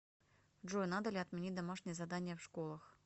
джой надо ли отменить домашние задания в школах